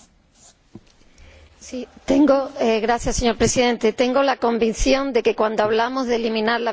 Señor Presidente, tengo la convicción de que, cuando hablamos de eliminar la violencia de género, estamos todos en el mismo barco.